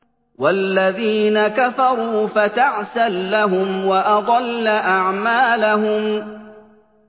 وَالَّذِينَ كَفَرُوا فَتَعْسًا لَّهُمْ وَأَضَلَّ أَعْمَالَهُمْ